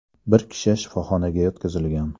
Bir kishi shifoxonaga yotqizilgan.